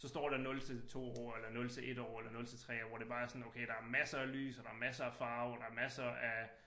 Så står der 0 til 2 år eller 0 til 1 år eller 0 til 3 år og det bare sådan okay der masser af lys og der masser af farve og der masser af